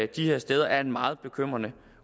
de her steder er en meget bekymrende